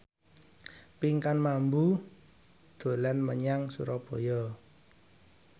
Pinkan Mambo dolan menyang Surabaya